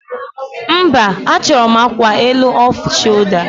Mba, achọrọ m akwa elu off sholda